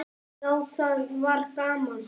Já, það var gaman.